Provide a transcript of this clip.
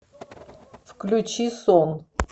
включи сон